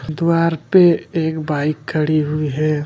द्वार पे एक बाइक खड़ी हुई है।